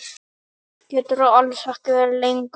Geturðu alls ekki verið lengur?